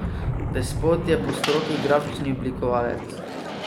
Despot je po stroki grafični oblikovalec.